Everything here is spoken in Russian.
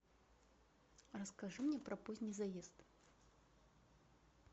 расскажи мне про поздний заезд